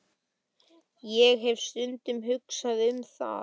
Já, ég hef stundum hugsað um það.